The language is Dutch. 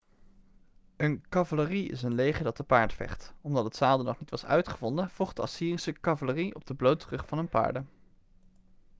een cavalerie is een leger dat te paard vecht omdat het zadel nog niet was uitgevonden vocht de assyrische cavalerie op de blote rug van hun paarden